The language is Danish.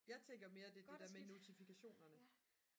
jeg tænker mere det er det der med notifikationerne